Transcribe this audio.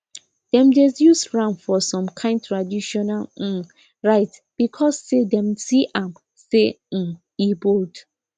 dem dey use ram for some kind traditional um rites because say dem see am say um he bold